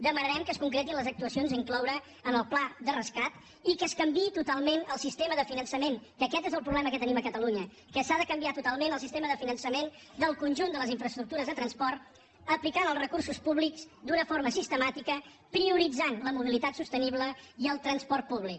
demanarem que es concretin les actuacions a incloure en el pla de rescat i que es canviï totalment el sistema de finançament que aquest és el problema que tenim a catalunya que s’ha de canviar totalment el sistema de finançament del conjunt de les infraestructures de transport aplicant els recursos públics d’una forma sistemàtica prio ritzant la mobilitat sostenible i el transport públic